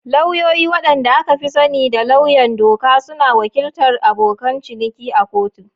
Lauyoyi, wanda aka fi sani da lauyan doka, suna wakiltar abokan ciniki a kotu.